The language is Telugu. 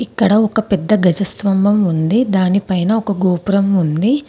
ఇక్కడ ఒక పెద్ద గజస్త్వంభం ఉంది దానిపైన ఒక గోపురం ఉంది.